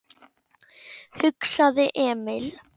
hugsaði Emil.